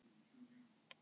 Festi ráð mitt